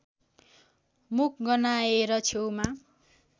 मुख गन्हाएर छेउमा